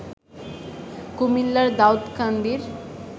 কুমিল্লার দাউদকান্দির